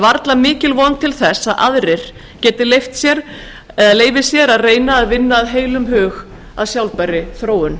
varla mikil von til þess að aðrir geti leyft sér að reyna að vinna af heilum hug að sjálfbærri þróun